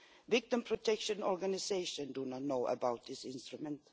Victim protection organisations do not know about this instrument.